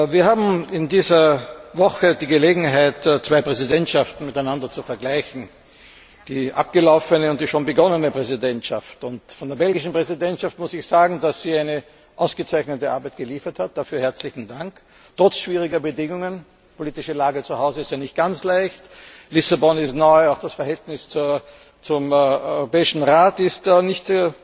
Wir haben in dieser Woche die Gelegenheit, zwei Präsidentschaften miteinander zu vergleichen, die abgelaufene und die schon begonnene Präsidentschaft. Von der belgischen Präsidentschaft muss ich sagen, dass sie eine ausgezeichnete Arbeit geliefert hat dafür herzlichen Dank! Trotz schwieriger Bedingungen die politische Lage zu Hause ist ja nicht ganz leicht, Lissabon ist neu, auch das Verhältnis zum Europäischen Rat ist nicht